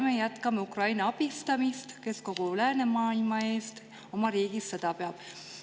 Me jätkame Ukraina abistamist, kes kogu läänemaailma eest oma riigis sõda peab.